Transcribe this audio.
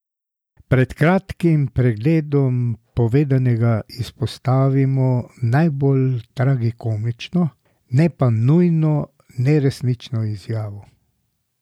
Pred kratkim pregledom povedanega izpostavimo najbolj tragikomično, ne pa nujno neresnično izjavo.